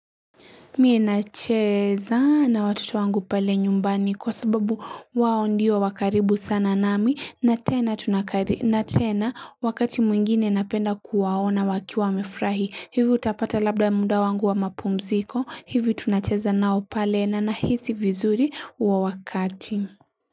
Mie nacheeza na watoto wangu pale nyumbani kwa sababu wao ndio wakaribu sana nami na tena tunakar na tena wakati mwingine napenda kuwaona wakiwa mefrahi. Hivo utapata labda munda wangu wa mapumziko. Hivi tunacheza nao pale na nahisi vizuri huo wakati.